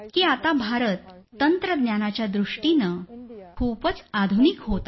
आता भारत तंत्रज्ञानाच्या दृष्टीनं खूपच आधुनिक होत आहे